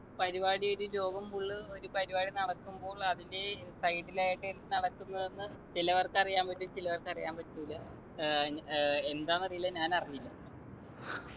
പരിപാടിയായിട്ടു ലോകം full ഒരു പരിപാടി നടക്കുമ്പോൾ അതിൻ്റെ side ൽ ആയിട്ട് എന്ത് നടക്കുന്നു എന്ന് ചിലവർക്കറിയാൻ പറ്റും ചിലവർക്കറിയാൻ പറ്റൂല ഏർ ഏർ എന്താന്നറീല്ല ഞാൻ അറിഞ്ഞില്ല